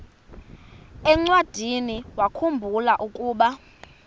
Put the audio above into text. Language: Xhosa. encwadiniwakhu mbula ukuba